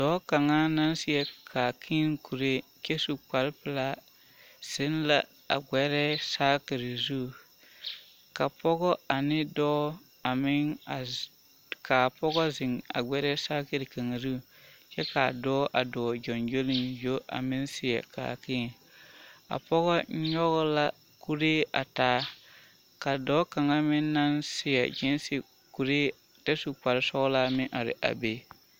Dɔɔ kaŋa naŋ seɛ kaakēē kuree kyɛ su kpare pelaa zeŋ la a gbɛrɛɛ saakiri zu ka pɔgɔ ane dɔɔ a meŋ a k'a pɔgɔ zeŋ a gbɛrɛɛ saakiri kaŋa zu kyɛ k'a dɔɔ a dɔɔ gyoŋgyoliŋgyo a meŋ seɛ kaakēē, a pɔge nyɔge la kuree a taa ka dɔɔ kaŋa meŋ naŋ seɛ giisi kuree kyɛ su kpare sɔgelaa meŋ are a be.